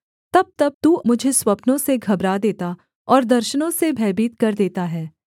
तबतब तू मुझे स्वप्नों से घबरा देता और दर्शनों से भयभीत कर देता है